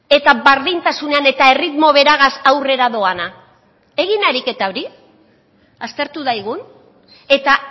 eta berdintasunean eta erritmo beragaz aurrera doana egin ariketa hori aztertu daigun eta